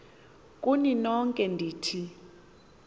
kuni nonke ndithi